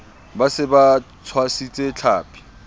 ba se ba tshwasitse tlhapi